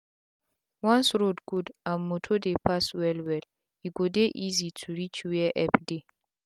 once road gud and motor dey pass well well e go dey easy to reach were epp dey